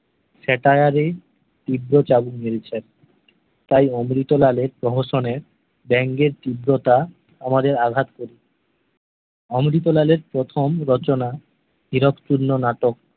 স্যাটায়ারে তীব্র চাবুক মেরেছে তাই অমৃতলাল এর প্রহসনের বঙ্গের তীব্রতা আমাদের আঘাত করে অমৃতলাল এর প্রথম রচনা হিরোকতুল্লো নাটক